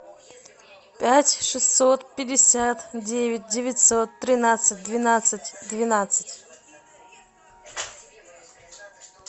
пять шестьсот пятьдесят девять девятьсот тринадцать двенадцать двенадцать